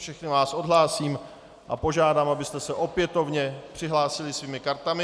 Všechny vás odhlásím a požádám, abyste se opětovně přihlásili svými kartami.